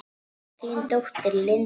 Þín dóttir, Linda.